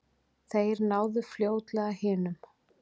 Þeir náðu fljótlega hinum.